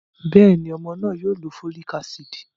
Bẹ́ẹ̀ni, ọmọ náà má lo folic acid.